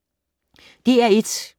DR1